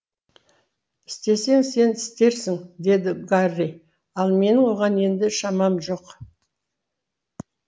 істесең сен істерсің деді гарри ал менің оған енді шамам жоқ